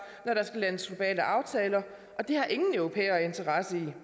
når der skal landes globale aftaler og det har ingen europæere interesse i vi